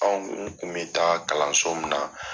Anw kun bi taa kalanso min na.